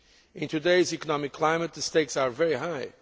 In today's economic climate the stakes are very high.